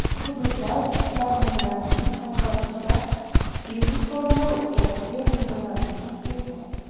Hududlar ishbilarmonlarining hamkorlikda biznes forumlar o‘tkazishi muntazamlik kasb etgan.